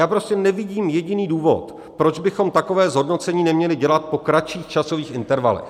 Já prostě nevidím jediný důvod, proč bychom takové zhodnocení neměli dělat po kratších časových intervalech.